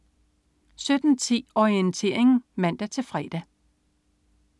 17.10 Orientering (man-fre)